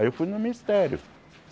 Aí eu fui no Ministério.